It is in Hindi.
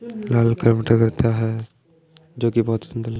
करता है जो की बहोत सुंदर--